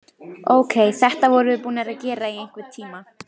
Ókei, þetta vorum við búnar að gera í einhvern tíma.